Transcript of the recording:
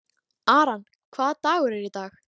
Aran, hvaða dagur er í dag?